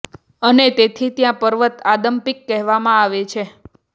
અને તેથી ત્યાં પર્વત આદમ પીક કહેવામાં આવે છે